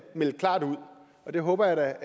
melde klart ud og det håber jeg